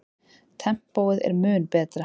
Tempóið er mun betra.